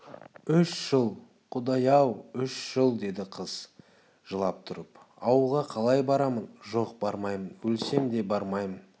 үш жыл құдай-ай үш жыл деді қыз жылап тұрып ауылға қалай барамын жоқ бармаймын өлсем де бармаймын